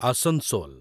Asansol